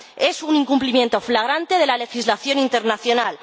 Es un incumplimiento flagrante de la legislación internacional.